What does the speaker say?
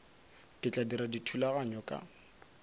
ke tla dira dithulaganyo ka